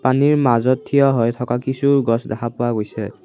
পানীৰ মাজত থিয় হৈ থকা কিছু গছ দেখা পোৱা গৈছে।